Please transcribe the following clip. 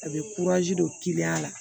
A bɛ don la